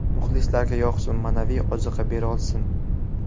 Muxlislarga yoqsin, ma’naviy ozuqa berolsin.